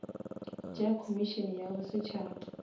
tša komišene ya bo setšhaba